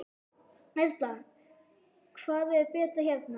Erla: Hvað er betra hérna?